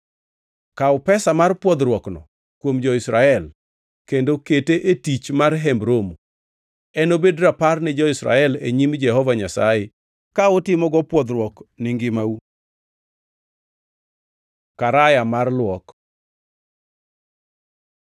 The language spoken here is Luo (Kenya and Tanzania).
Kaw pesa mar pwodhruokno kuom jo-Israel kendo kete e tich mar Hemb Romo. Enobed Rapar ni jo-Israel e nyim Jehova Nyasaye ka utimogo pwodhruok ni ngimau.” Karaya mar luok